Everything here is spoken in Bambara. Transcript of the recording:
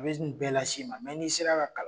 A bɛ nin bɛɛ las'i ma ,mɛ n'i sera ka kalan.